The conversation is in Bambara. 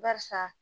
Barisa